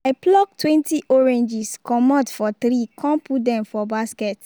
i pluck twenty oranges comot for tree con put dem for basket